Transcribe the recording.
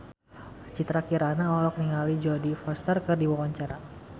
Citra Kirana olohok ningali Jodie Foster keur diwawancara